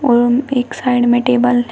और एक साइड में टेबल है।